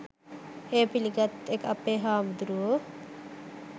එය පිළිගත්ත අපේ බුදුහාමුදුරුවෝ